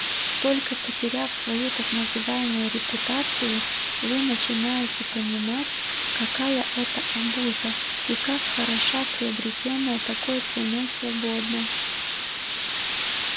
только потеряв свою так называемую репутацию вы начинаете понимать какая это абуза и как хороша приобретённая такой ценой свобода